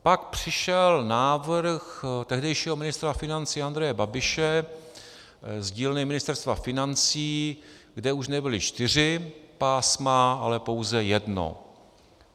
Pak přišel návrh tehdejšího ministra financí Andreje Babiše z dílny Ministerstva financí, kde už nebyla čtyři pásma, ale pouze jedno.